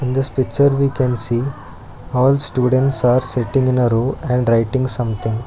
this picture we can see all students are sitting in a row and writing something.